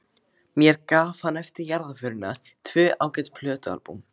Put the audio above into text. Mér gaf hann eftir jarðarförina tvö ágæt plötualbúm.